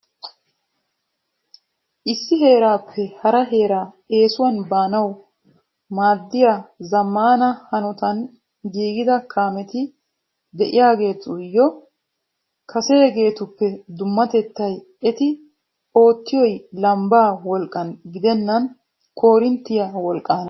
Issi heerappe hara heera eessuwan baanaw maaddiyaa zammana hanotan giigida kaameti de'iyaahetuyyo kaseegetuppe dummatetay eti oottiyoy lambba wolqqan gidenan koorinttiyaa wolqqana.